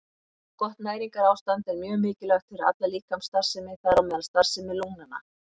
Gott næringarástand er mjög mikilvægt fyrir alla líkamsstarfsemi, þar á meðal starfsemi lungnanna.